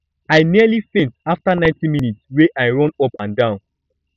i nearly faint after 90 minutes wey i run up and down